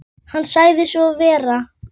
Hann sagði svo vera.